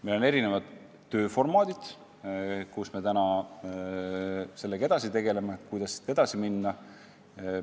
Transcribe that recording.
Meil on erinevad tööformaadid, mida kasutades me sellega tegeleme ja arutame, kuidas edasi minna.